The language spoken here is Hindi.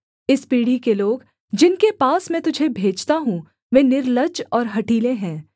इस पीढ़ी के लोग जिनके पास मैं तुझे भेजता हूँ वे निर्लज्ज और हठीले हैं